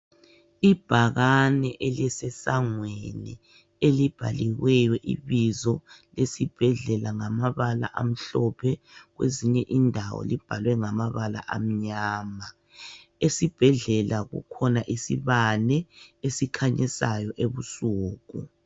Ibhakane elisesangweni elibhaliweyo ibizo esibhedlela ngamabala amhlophe kwezinye indawo libhalwe ngamabala amnyama. Esibhedlela kukhona isibane esikhanyayo ebusuku.